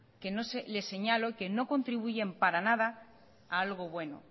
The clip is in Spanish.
que no le señalo y que no contribuyen para nada a algo bueno